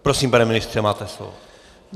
Prosím, pane ministře, máte slovo.